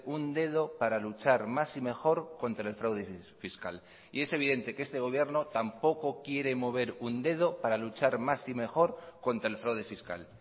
un dedo para luchar más y mejor contra el fraude fiscal y es evidente que este gobierno tampoco quiere mover un dedo para luchar más y mejor contra el fraude fiscal